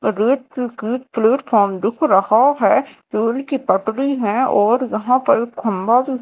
platform दिख रहा है रेल की पटरी है और यहां पर खंभा भी--